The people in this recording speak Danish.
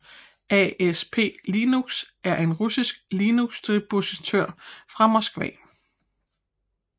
ASP Linux er en russisk Linuxdistribution fra Moskva